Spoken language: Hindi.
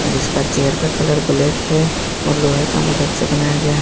इसका चेयर का कलर ब्लैक है और लोहे का मदद से बनाया गया है।